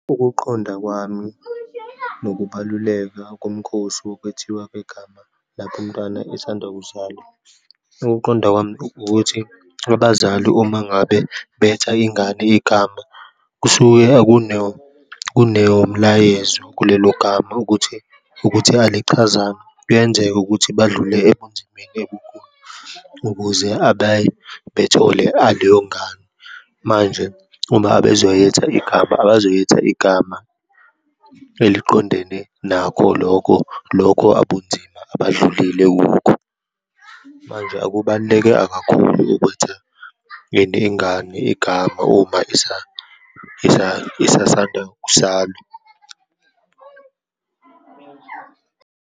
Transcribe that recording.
Ukuqonda kwami ngokubaluleka kumkhosi kokwethiwa kwegama lapho umntwana esanda kuzalwa. Ukuqonda kwami ukuthi abazali uma ngabe betha ingane igama, kusuke akuno, kunomlayezo kulelo gama ukuthi, ukuthi alichazanga. Kuyenzeka ukuthi badlule ebunzimeni ebukhulu ukuze bethole aleyo ngane. Manje uma abazoyetha igama abazoyetha igama eliqondene nakho lokho, lokho abunzima abadlulile kukho. Manje akubaluleke kakhulu ukwetha, ini ingane igama, uma isasanda kuzalwa.